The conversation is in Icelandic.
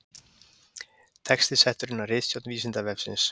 Texti settur inn af ritstjórn Vísindavefsins.